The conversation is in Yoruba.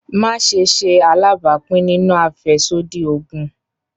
Maṣe ṣe alabapin ninu afẹsodi oogun!